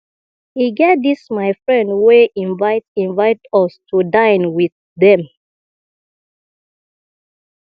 e get dis my friend wey invite invite us to dine with dem